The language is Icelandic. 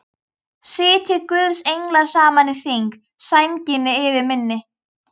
Sitji guðs englar saman í hring, sænginni yfir minni.